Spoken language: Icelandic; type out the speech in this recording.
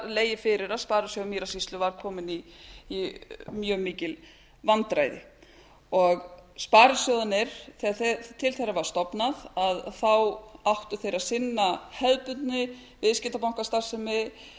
legið fyrir að sparisjóður mýrasýslu var kominn í mjög mikil vandræði sparisjóðirnir þegar til þeirra var stofnað áttu þeir að sinna hefðbundinni viðskiptabankastarfsemi